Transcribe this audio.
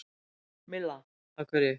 Milla: Af hverju?